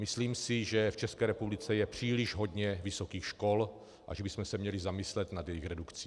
Myslím si, že v České republice je příliš hodně vysokých škol a že bychom se měli zamyslet nad jejich redukcí.